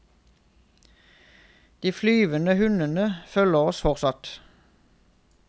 De flyvende hundene følger oss fortsatt.